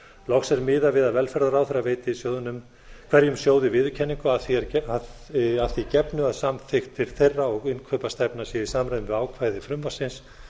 loks er miðað við að velferðarráðherra veiti hverjum sjóði viðurkenningu að því gefnu að samþykktir þeirra og innkaupastefna séu í samræmi við ákvæði frumvarpsins